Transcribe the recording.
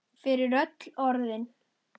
Fyrir öll orðin.